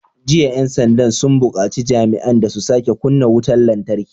Jiya 'yan sanda sun bukaci jami'an da su sake kunna wutar lantarki!"